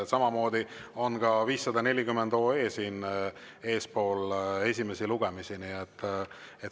Samamoodi on 540 OE enne esimesi lugemisi.